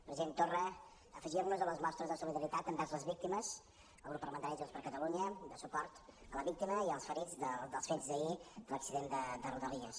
president torra afegir nos a les mostres de solidaritat envers les víctimes el grup parlamentari de junts per catalunya de suport a la víctima i als ferits dels fets d’ahir de l’accident de rodalies